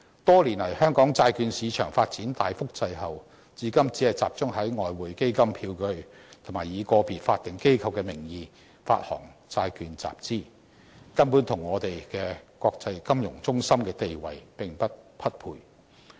多年來，香港債券市場發展大幅滯後，至今只集中在外匯基金票據或以個別法定機構的名義發行債券集資，根本與我們國際金融中心的地位並不匹配。